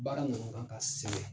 Baara ninnu kan ka sɛbɛn.